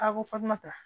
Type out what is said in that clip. A ko fatumata